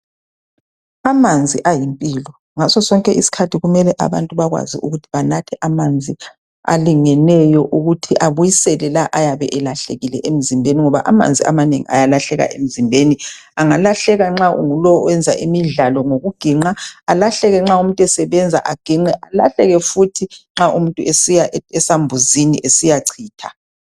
Amanzi ayimpilo, ngaso sonke isikhathi kumele abantu bakwazi ukuthi banathe amanzi alingeneyo ukuthi abisele lawo ayabe elahlekile emzimbeni ngoba amanzi amanengi ayalahleka emzimbeni . Angalahleka nxa ungulowo oyenza imidlalo ngokuginqa , alahleke nxa umuntu esebenza aginqe, alahleke futhi nxa umuntu esiya esambuzini esiyachitha